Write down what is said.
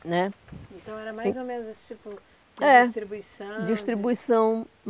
Né. Então era mais ou menos esse tipo de distribuição. É. Distribuição.